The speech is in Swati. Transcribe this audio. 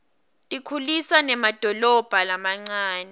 tikhulisa nemadolobha lamancane